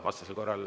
Vastasel korral …